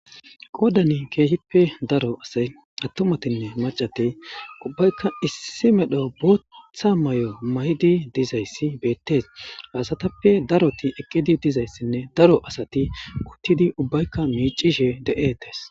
Qoodani keehippe daro asay attumatinne macatey ubbaykka issi medho bootha mayo maydi dizayssi beettees haasatappe daroti eqqidi dizayssinne daro asati kuttidi ubbaykka miicishe de'etes